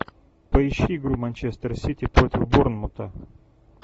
поищи игру манчестер сити против борнмута